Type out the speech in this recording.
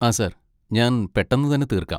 ആ സാർ, ഞാൻ പെട്ടെന്ന് തന്നെ തീർക്കാം.